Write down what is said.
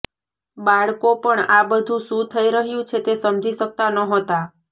બાળકો પણ આ બધું શું થઈ રહ્યું છે તે સમજી શકતા નહોતા